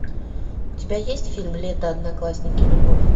у тебя есть фильм лето одноклассники любовь